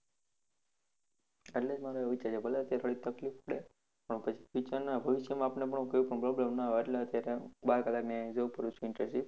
એટલે જ મારો એવો વિચાર છે ભલે અત્યારે થોડીક તફ્લીક પડે, પછી future નાં ભવિષ્ય માં આપને કોઈ પણ problem નાં આવે. એટલે અત્યારે બાર કલાકની job કરું છું intership